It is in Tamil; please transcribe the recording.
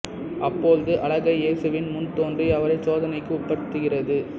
அப்பொழுது அலகை இயேசுவின் முன் தோன்றி அவரைச் சோதனைக்கு உட்படுத்துகிறது